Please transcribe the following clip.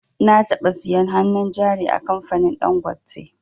Na taɓa siyan hannun jari a kamfanin dangote